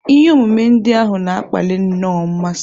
Ihe omume ndị ahụ na-akpali nnọọ mmasị.